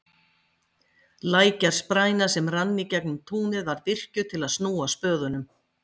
Lækjarspræna, sem rann í gegnum túnið, var virkjuð til að snúa spöðunum.